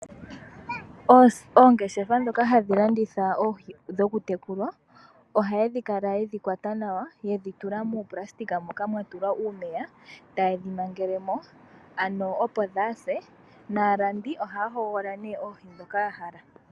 Oongeshefa ndhoka hadhi landitha oohi hadhitekulwa ohayedhi kala yedhi kwata nawayedhi tula muuplasitika moka mwatulwa uumeya tayedhi mangele mo ano opo dhase nalandi ohaya hogolola oohi ndhoka yahala.